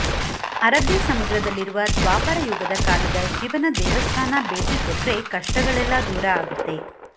ಅರಬ್ಬೀ ಸಮುದ್ರದಲ್ಲಿರುವ ದ್ವಾಪರ ಯುಗದ ಕಾಲದ ಶಿವನ ದೇವಸ್ಥಾನ ಭೇಟಿ ಕೊಟ್ರೆ ಕಷ್ಟಗಳೆಲ್ಲಾ ದೂರ ಆಗುತ್ತೆ